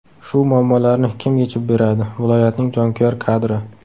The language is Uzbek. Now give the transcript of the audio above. Shu muammolarni kim yechib beradi, viloyatning jonkuyar kadri.